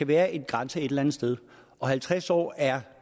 være en grænse et eller andet sted og halvtreds år er